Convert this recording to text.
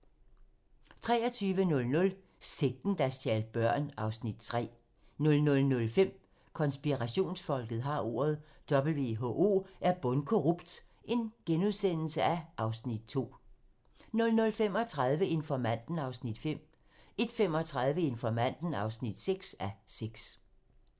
23:00: Sekten, der stjal børn (Afs. 3) 00:05: Konspirationsfolket har ordet - WHO er bundkorrupt (Afs. 2)* 00:35: Informanten (5:6) 01:35: Informanten (6:6)